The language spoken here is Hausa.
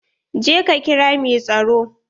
Je ka kira mai tsaro.